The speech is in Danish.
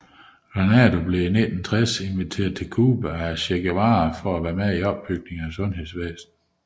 Granado blev i 1960 inviteret til Cuba af Che Guevara for at være med i opbygningen af sundhedsvæsnet